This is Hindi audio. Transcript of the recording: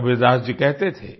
कबीरदास जी कहते थे